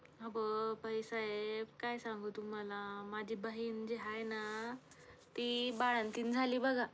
अवं बाईसाहेब, काय सांगू तुम्हाला माझी बहिण जी हाय ना, ती बाळंतीण झाली बघा.